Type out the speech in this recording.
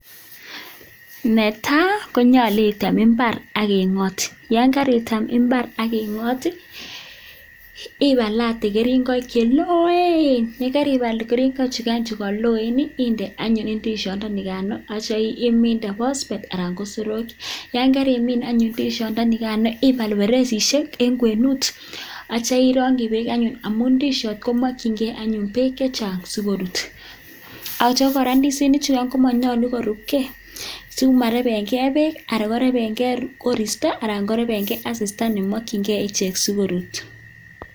Netai konyalu item mbar akingot yon karitem mbar anyun akingot ibalate keringonik chelooen yekaibal chugan chekaloen inde anyun ndishot nikan atya iminde phospate anan ko soroek yon karimin anyun ndishondoni kaan ibal perechishek eng kwenut atya ironji beek anyun a,u ndishot komakyingei bek chechang sikorut atya kora ndisinik chugan komanyalu ko rup kei simarebenkei beek anan korebekei koristo anan korebekei asista nemokyingei ichek sikorut.